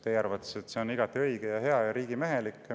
Teie arvates on see igati õige ja hea ja riigimehelik.